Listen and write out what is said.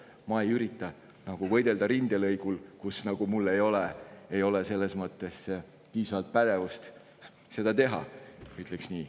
Ma ei ürita võidelda rindelõigul, kus mul ei ole piisavat pädevust seda teha, ütleks nii.